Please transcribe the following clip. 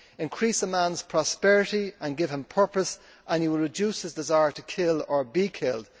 Increase a man's prosperity and give him purpose and you will reduce his desire to kill or be killed.